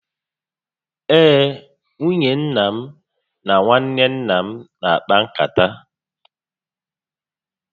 Ee, nwunye nna m na nwanne nna m na akpa nkata